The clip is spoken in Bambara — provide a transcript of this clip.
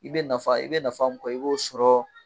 I bɛ nafa i bɛ nafa mun kɔ i b'o sɔrɔ